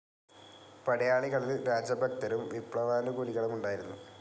പടയാളികളിൽ രാജഭക്തരും വിപ്ലവാനുകൂലികളും ഉണ്ടായിരുന്നു.